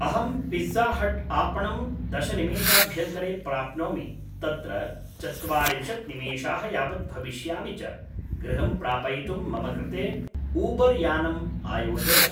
अहंं पिज़्जाहट्‌आपणं दशनिमेषाभ्यन्तरे प्राप्नोमि तत्र चत्वारिंशत्‌निमेषाः यावत् भविष्यामि च गृहं प्रापयितुं मम कृते ऊबर्‌यानम् आयोजय